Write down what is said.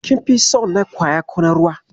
Kin fi son na kwaya ko na ruwa?